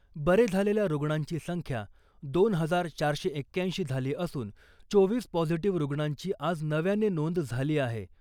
बरे झालेल्या रुग्णांची संख्या दोन हजार चारशे एक्क्याऐंशी झाली असून चोवीस पॉझिटिव्ह रुग्णांची आज नव्याने नोंद झाली आहे .